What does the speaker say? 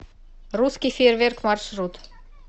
русский фейерверк маршрут